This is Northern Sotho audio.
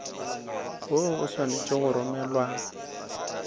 woo o swanetše go romelwa